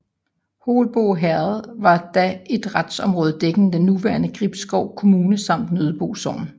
Holbo Herred var da et retsområde dækkende den nuværende Gribskov Kommune samt Nøddebo Sogn